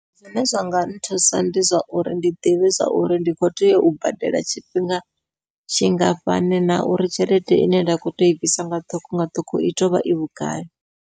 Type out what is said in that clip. Zwine zwa nga nthusa ndi zwa uri ndi ḓivhe zwa uri ndi kho tea u badela tshifhinga tshingafhani na uri tshelede ine nda kho tea ui bvisa nga ṱhukhu nga ṱhukhu i tea uvha i vhugai.